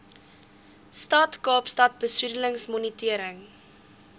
stad kaapstad besoedelingsmonitering